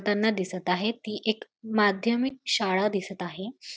त्यांना दिसत आहे ती एक माध्यमिक शाळा दिसत आहे.